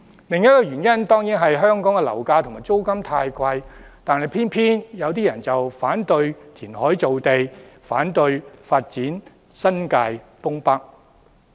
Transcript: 另一個原因當然是香港樓價和租金太貴，但偏偏有部分人反對填海造地，反對發展新界東北。